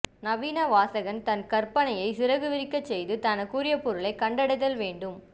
நவீன வாசகன் தன் கற்பனையை சிறகு விரிக்கச் செய்து தனக்குரிய பொருளைக் கண்டடைதல் வேண்டும்